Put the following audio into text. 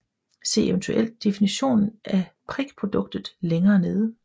Se eventuelt definitionen af prikproduktet længere nede